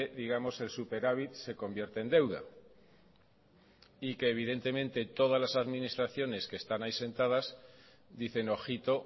digamos el superávit se convierte en deuda y que evidentemente todas las administraciones que están ahí sentadas dicen ojito